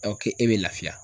k'e bɛ lafiya.